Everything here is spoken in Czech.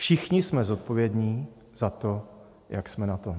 Všichni jsme zodpovědní za to, jak jsme na tom.